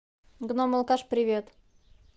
гном алкаш привет